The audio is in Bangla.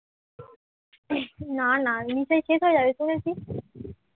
না না, মিঠাই শেষ হয়ে যাবে শুনেছিস?